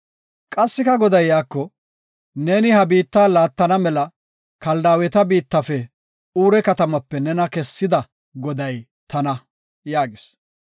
Qassika Goday iyako, “Neeni ha biitta laattana mela Kaldaaweta biittafe Uure katamaape nena kessida Goday tana” yaagis.